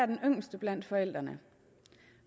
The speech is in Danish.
den yngste blandt forældrene